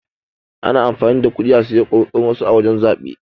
Ana amfani da kuɗi a saye kuri'un wasu a wajan zabe.